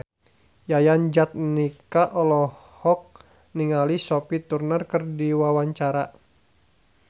Yayan Jatnika olohok ningali Sophie Turner keur diwawancara